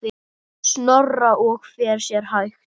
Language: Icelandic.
Snorra og fer sér hægt.